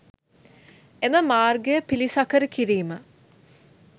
එම මාර්ගය පිළිසකර කිරීම